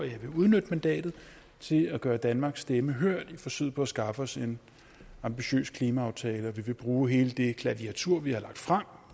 jeg vil udnytte mandatet til at gøre danmarks stemme hørt i forsøget på at skaffe os en ambitiøs klimaaftale vi vil bruge hele det klaviatur vi har lagt frem